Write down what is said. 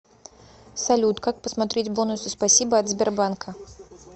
салют как посмотреть бонусы спасибо от сбербанка